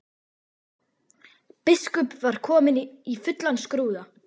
Biskup var kominn í fullan skrúða.